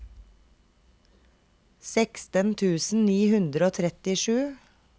seksten tusen ni hundre og trettisju